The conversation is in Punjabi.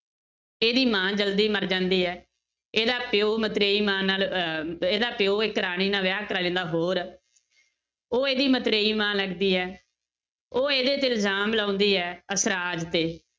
ਇਹਦੀ ਮਾਂ ਜ਼ਲਦੀ ਮਰ ਜਾਂਦੀ ਹੈ, ਇਹਦਾ ਪਿਓ ਮਤਰੇਈ ਮਾਂ ਨਾਲ ਅਹ ਇਹਦਾ ਪਿਓ ਇੱਕ ਰਾਣੀ ਨਾਲ ਵਿਆਹ ਕਰਵਾ ਲੈਂਦਾ ਹੋਰ, ਉਹ ਇਹਦੀ ਮਤਰੇਈ ਮਾਂ ਲੱਗਦੀ ਹੈ, ਉਹ ਇਹਦੇ ਤੇ ਇਲਜ਼ਾਮ ਲਾਉਂਦੀ ਹੈ ਅਸਰਾਜ ਤੇ